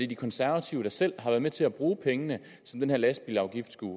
de konservative der selv har været med til at bruge pengene som den her lastbilsafgift skulle